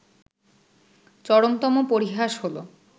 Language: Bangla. চরমতম পরিহাস হলো